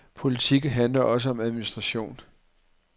Politik handler også om administration.